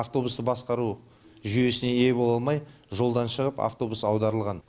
автобусты басқару жүйесіне ие бола алмай жолдан шығып автобус аударылған